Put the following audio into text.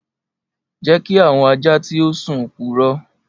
Jẹ ki awọn aja ti o sun purọ.